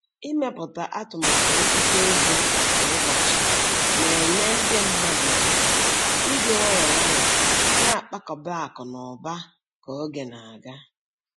Ịmepụta atụmatụ nchekwa ego kwa ụbọchị na-enye ndị mmadụ ohere iji nwayọọ nwayọọ na-akpakọba akụ na ụba ka oge na-aga.